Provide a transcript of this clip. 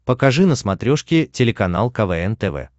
покажи на смотрешке телеканал квн тв